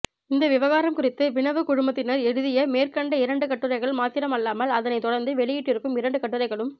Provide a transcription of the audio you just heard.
இந்த விவகாரம் குறித்து வினவு குழுமத்தினர் எழுதிய மேற்கண்ட இரண்டு கட்டுரைகள் மாத்திரமல்லாமல் அதனைத் தொடர்ந்து வெளியிட்டிருக்கும் இரண்டு கட்டுரைகளும்